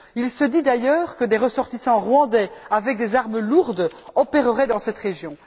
Il se dit d'ailleurs que des ressortissants rwandais avec des armes lourdes opéreraient dans cette région.